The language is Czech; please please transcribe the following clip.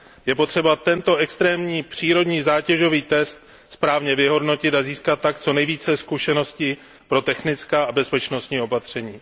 Je potřeba tento extrémní přírodní zátěžový test správně vyhodnotit a získat tak co nejvíce zkušeností pro technická a bezpečnostní opatření.